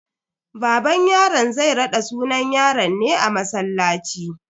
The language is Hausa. Baban yaron zai raɗa sunan yaron ne a masallaci.